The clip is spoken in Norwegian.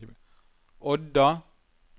Odda